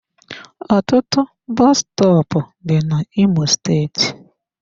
Ọtụtụ bọs stọọpu dị na imo steeti.